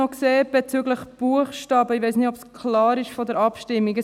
Noch etwas bezüglich der Buchstaben: Ich weiss nicht, ob es für die Abstimmung klar ist.